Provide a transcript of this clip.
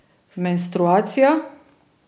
Menstruacija.